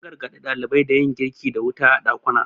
an gargaɗi ɗalibai da yin girki da wuta a ɗakuna